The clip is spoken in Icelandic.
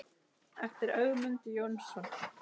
eftir Ögmund Jónsson